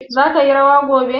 zaki yi rawa gobe?